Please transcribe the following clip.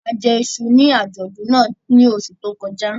A jẹ iṣu ní àjọ̀dún náà ní oṣù tó kọjá